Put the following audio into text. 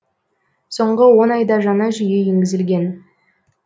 соңғы он айда жаңа жүйе енгізілген